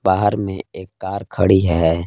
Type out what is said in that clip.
बाहर में एक कार खड़ी है।